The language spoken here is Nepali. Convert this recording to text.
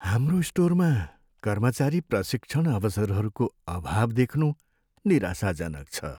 हाम्रो स्टोरमा कर्मचारी प्रशिक्षण अवसरहरूको अभाव देख्नु निराशाजनक छ।